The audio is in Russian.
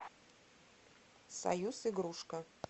союз игрушка